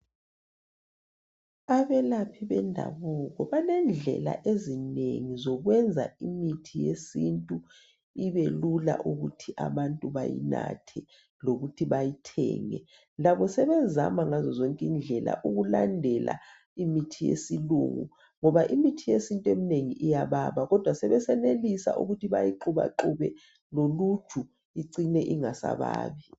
Abelaphi bendabuko balendlela ezinengi zokwenza imithi yesintu ibe lula ukuthi abantu bayinathe lokuthi bayithenge. Labo sebezama ngazo zonke indlela ukulandela imithi yesilungu ngoba imithi yesintu emnengi iyababa kodwa sebesenelisa ukuthi bayixubaxube loluju icine ingasababi.